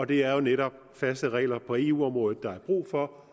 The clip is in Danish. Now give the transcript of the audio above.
det er jo netop faste regler på eu området der er brug for